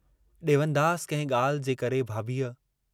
ॾेवनदास कंहिं ॻाल्हि जे करे भाभीअ